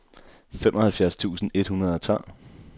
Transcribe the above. femoghalvfjerds tusind et hundrede og tolv